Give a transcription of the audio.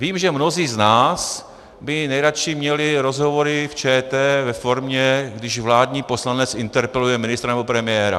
Vím, že mnozí z nás by nejraději měli rozhovory v ČT ve formě, když vládní poslanec interpeluje ministra nebo premiéra.